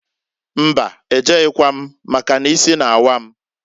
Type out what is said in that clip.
Mbaǃ E jeghikwam, maka n'isi na-awa m.